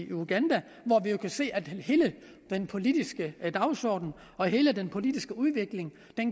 uganda hvor vi jo kan se at hele den politiske dagsorden og hele den politiske udvikling